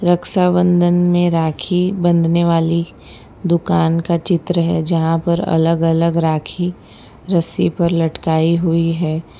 रक्षाबंधन में राखी बंधने वाली दुकान का चित्र है जहां पर अलग अलग राखी रस्सी पर लटकाई हुई है।